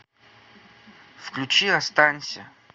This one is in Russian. включи останься